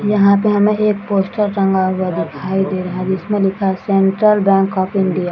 यहाँ पे हमे एक पोस्टर टंगा हुआ दिखाई दे रहा है जिसमे लिखा है सेंट्रल बैंक ऑफ़ इंडिया ।